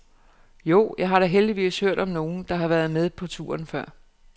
Jo, jeg har da heldigvis hørt om nogen, der har været med på turen før.